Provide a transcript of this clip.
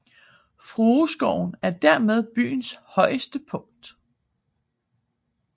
Frueskoven er dermed byens højeste punkt